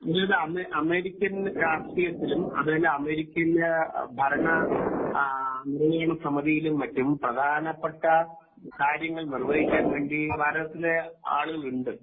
എനിക്ക് തോന്നുന്നു അമേരിക്കൻ രാഷ്ട്രീയത്തിലും അതുപോലെ അമേരിക്കന്റെ ഭരണ നിർവാഹണ സമതി യിലും മറ്റും പ്രഥനപ്പെട്ട കാര്യങ്ങൾ നിർവഹിക്കാൻ വേണ്ടി ഭാരതത്തിലെ ആളുകൾ ഉണ്ട്